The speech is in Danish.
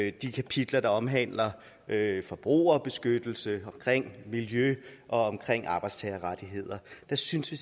i de kapitler der omhandler forbrugerbeskyttelse miljø og arbejdstagerrettigheder der synes vi